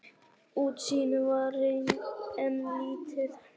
Útsýnið var enn lítið.